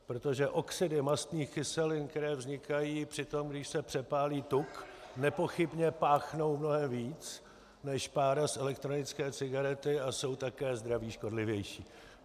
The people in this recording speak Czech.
Protože oxidy mastných kyselin, které vznikají při tom, když se přepálí tuk, nepochybně páchnou mnohem víc než pára z elektronické cigarety a jsou také zdraví škodlivější.